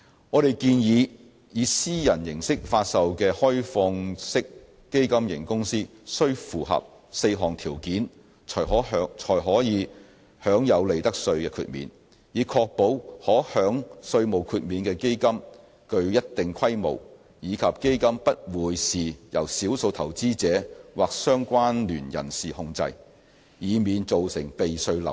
我們建議，以私人形式發售的開放式基金型公司須符合4項條件，才可享有利得稅豁免，以確保可享稅項豁免的基金具一定規模，以及不會是由少數投資者或相關聯人士控制，以免造成避稅漏洞。